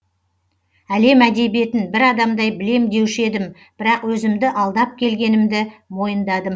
әлем әдебиетін бір адамдай білем деуші едім бірақ өзімді алдап келгенімді мойындадым